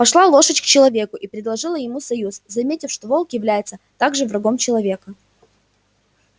пошла лошадь к человеку и предложила ему союз заметив что волк является также врагом человека